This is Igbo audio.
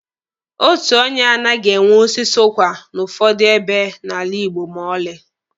Otu onye anaghị enwe osisi ụkwa n'ụfọdụ ebe n'ala Igbo ma ọlị.